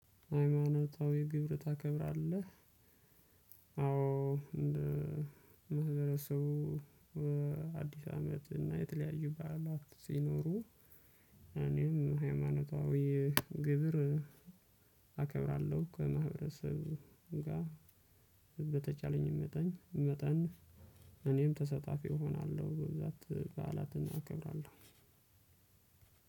ሃይማኖታዊ ግብር ታከብራለህ? አዎ እንደ ማህበረሰቡ አዲስ አመት እና የተለያዩ በዓላት ሲኖሩ እኔም ሃይማኖታዊ ግብር አከብራለሁ። ከማህበረሰብ ጋር በተቻለኝ መጠን መጠን እኔም ተሰጣፊ እሆናለሁ። በብዛት በዓላትን አከብራለሁ።